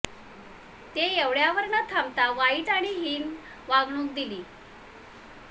ते एवढ्यावर न थांबता वाईट आणि हिन वागणूक दिली